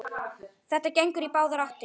Þetta gengur í báðar áttir.